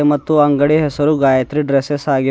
ಮತ್ತು ಅಂಗಡಿಯ ಹೆಸರು ಗಾಯತ್ರಿ ಡ್ರೆಸ್ಸೆಸ್ ಆಗಿದೆ.